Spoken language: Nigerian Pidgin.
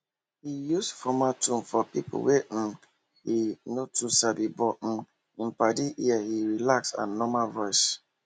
he use formal tone for people wey um he no too sabi but um him paddies ear him relaxed and normal voice